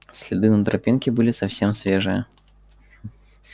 следы на тропинке были совсем свежие